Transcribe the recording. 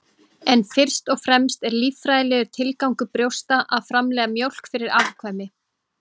en fyrst og fremst er líffræðilegur tilgangur brjósta að framleiða mjólk fyrir afkvæmi